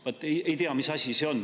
Vaat ei tea, mis asi see on.